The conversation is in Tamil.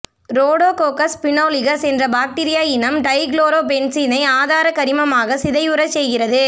ரோடோகோக்கஸ் பினோலிகஸ் என்ற பாக்டீரிய இனம் டைகுளோரோ பென்சீனை ஆதார கரிமமாக சிதைவுறச் செய்கிறது